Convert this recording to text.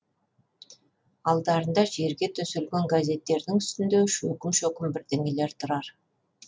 алдарында жерге төселген газеттердің үстінде шөкім шөкім бірдеңелер тұрар